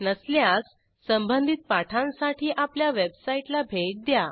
नसल्यास संबधित पाठांसाठी आपल्या वेबसाईटला भेट द्या